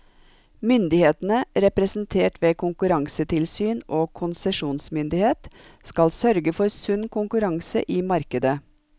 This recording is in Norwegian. Myndighetene, representert ved konkurransetilsyn og konsesjonsmyndighet, skal sørge for sunn konkurranse i markedet.